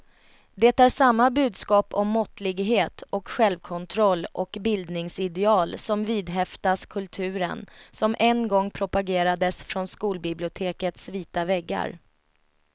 Det är samma budskap om måttlighet och självkontroll och bildningsideal som vidhäftas kulturen, som en gång propagerades från skolbibliotekets vita väggar.